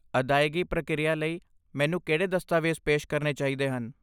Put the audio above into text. ਅਦਾਇਗੀ ਪ੍ਰਕਿਰਿਆ ਲਈ, ਮੈਨੂੰ ਕਿਹੜੇ ਦਸਤਾਵੇਜ਼ ਪੇਸ਼ ਕਰਨੇ ਚਾਹੀਦੇ ਹਨ?